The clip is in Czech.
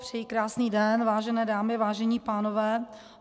Přeji krásný den, vážené dámy, vážení pánové.